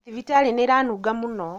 Thibitarĩ nĩĩranunga mũno